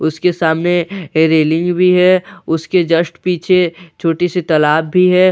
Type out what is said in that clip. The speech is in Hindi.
उसके सामने रेलिंग भी है उसके जस्ट पीछे छोटी सी तालाब भी है उसके--